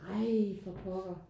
Ej for pokker